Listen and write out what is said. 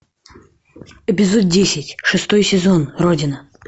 эпизод десять шестой сезон родина